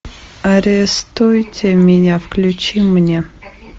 арестуйте меня включи мне